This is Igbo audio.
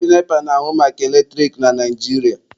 Ndị NEPA na-ahụ maka eletrik na Naijiria.